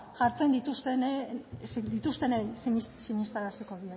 jartzen dituztenei sinistaraziko